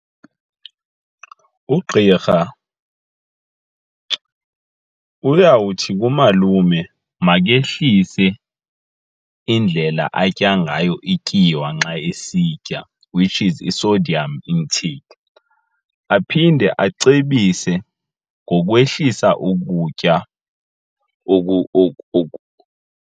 Ugqirha uyawuthi kumalume makehlise indlela atya ngayo ityiwa nxa esitya, which is i-sodium intake. Aphinde acebise ngokwehlisa ukutya .